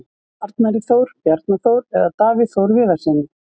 Arnari Þór, Bjarna Þór eða Davíð Þór Viðarssyni?